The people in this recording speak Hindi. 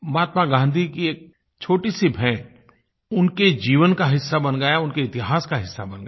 महात्मा गाँधी की एक छोटी सी भेंट उनके जीवन का हिस्सा बन गई उनके इतिहास का हिस्सा बन गई